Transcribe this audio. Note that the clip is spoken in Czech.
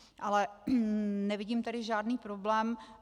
Ale nevidím tady žádný problém.